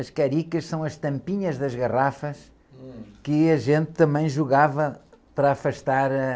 As caricas são as tampinhas das garrafas.um.ue a gente também jogava para afastar a...